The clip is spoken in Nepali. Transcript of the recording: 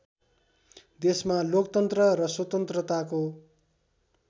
देशमा लोकतन्त्र र स्वतन्त्रताको